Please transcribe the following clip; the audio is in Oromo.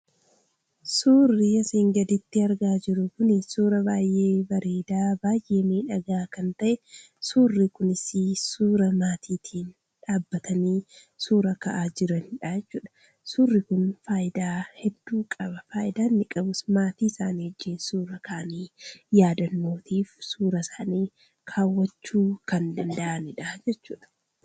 Suurri asiin gaditti argaa jirru kuni suura baay'ee bareeda fi baay'ee miidhaaga kan ta'edha. Suurri Kunis suura maatii waliin dhaabbatanii suura ka'aa jiranidhaa jechuudha. Suurri Kun faayidaa hedduu qaba. Faayidaan inni qabus maatii isaani wajjiin suura ka'anii yeroo yaadannootiif suura isaanii kaawwachuu kan danda'anii jechuudha.